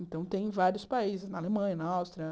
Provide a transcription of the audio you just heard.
Então, tem em vários países, na Alemanha, na Áustria.